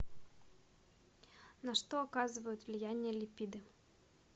на что оказывают влияние липиды